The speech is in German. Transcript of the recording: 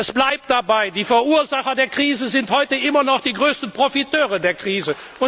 Es bleibt dabei Die Verursacher der Krise sind immer noch die größten Profiteure der